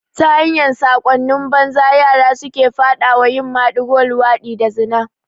Ta hanyar sakonni banza yara suke faɗa wa yin maɗigo, luwaɗi da zina